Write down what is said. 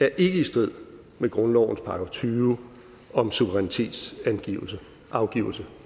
er i strid med grundlovens § tyve om suverænitetsafgivelse